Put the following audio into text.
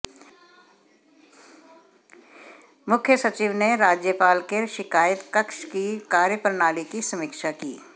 मुख्य सचिव ने राज्यपाल के शिकायत कक्ष की कार्यप्रणाली की समीक्षा की